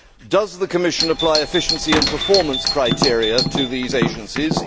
Does the Commission apply efficiency and performance criteria to these agencies?